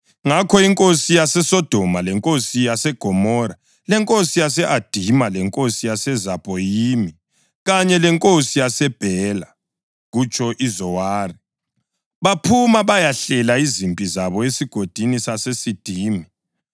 Ngakho inkosi yaseSodoma, lenkosi yaseGomora, lenkosi yase-Adima, lenkosi yaseZebhoyimi kanye lenkosi yaseBhela (kutsho iZowari) baphuma bayahlela izimpi zabo eSigodini saseSidimi